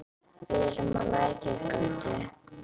Við erum á Lækjargötu.